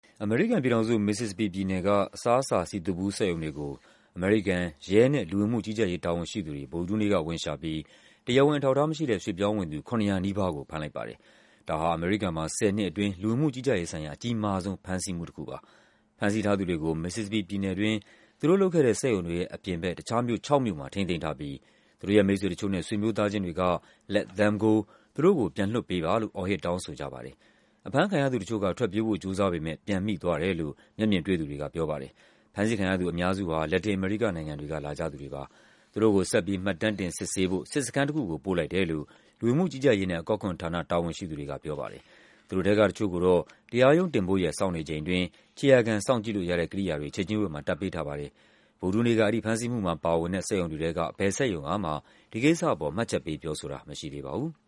အမေရိကန်ပြည်ထောင်စု၊ Mississippi ပြည်နယ်က အစားအစာ စည်သွပ်ဘူးစက်ရုံတွေကို အမေရိကန် ရဲနဲ့လူဝင်မှုကြီးကြပ်ရေး တာဝန်ရှိသူတွေ ဗုဒ္ဓဟူးနေ့က ဝင်ရှာပြီး တရားဝင်အထောက်အထားမရှိတဲ့ ရွှေ့ပြောင်းဝင်သူ ၇၀၀ နီးပါးကို ဖမ်းလိုက်ပါတယ်။ ဒါဟာ အမေရိကန်မှာ ၁၀ နှစ်အတွင်း လူဝင်မှုကြီးကြပ်ရေးဆိုင်ရာ အကြီးမားဆုံး ဖမ်းဆီးမှုတခုဖြစ်ပါတယ်။ ဖမ်းဆီးထားသူတွေကို Mississippi ပြည်နယ်တွင်း သူတို့လုပ်ခဲ့တဲ့စက်ရုံတွေရဲ့အပြင်ဘက် တခြားမြို့ ၆ မြို့မှာ ထိန်းသိမ်းထားပြီး သူတို့ရဲ့ မိတ်ဆွေတချို့နဲ့ ဆွေမျိုးသားချင်းတွေကို “Let them go” သူတို့ကို ပြန်လွှတ်ပေးပါလို့ အော်ဟစ် တောင်းဆိုကြပါတယ်။ အဖမ်းခံရသူတချို့က ထွက်ပြေးဖို့ ကြိုးစားပေမယ့် ပြန်မိသွားတယ်လို့ မျက်မြင်တွေ့သူတွေကပြောပါတယ်။ ဖမ်းဆီးခံရသူအများစု ဟာ လက်တက်အမေရိကနိုင်ငံတွေက လာကြသူတွေပါ။ သူတို့ကို ဆက်ပြီး မှတ်တမ်းတင် စစ်ဆေးဖို့ စစ်စခန်းတခုကို ပို့လိုက်တယ်လို့ လူဝင်မှုကြီးကြပ်ရေးနဲ့ အကောက်ခွန်ဌာန တာဝန်ရှိ သူတွေကပြောပါတယ်။ သူတို့ထဲက တချို့ကိုတော့ တရားရုံးတင်ဖို့ရက် စောင့်နေချိန်အတွင်း ခြေရာခံစောင့်ကြည့်လို့ရတဲ့ ကိရိယာတွေ ခြေကျင်းဝတ်မှာ တပ်ပေးထားပါတယ်။ ဗုဒ္ဓဟူးနေ့က အဲဒီဖမ်းဆီးမှုမှာပါဝင်တဲ့ စက်ရုံတွေထဲက ဘယ်စက်ရုံကမှ ဒီကိစ္စအပေါ် မှတ်ချက်ပေးပြောဆိုတာ မရှိသေးပါဘူး။